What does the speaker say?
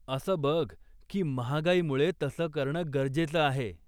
असं बघ की महागाईमुळे तसं करणं गरजेच आहे.